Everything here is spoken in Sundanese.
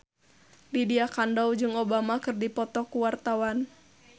Lydia Kandou jeung Obama keur dipoto ku wartawan